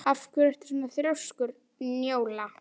Af hverju ertu svona þrjóskur, Njóla?